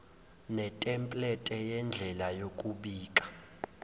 netemplethe yendlela yokubika